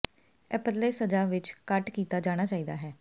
ਇਹ ਪਤਲੇ ਸਜ਼ਾ ਵਿੱਚ ਕੱਟ ਕੀਤਾ ਜਾਣਾ ਚਾਹੀਦਾ ਹੈ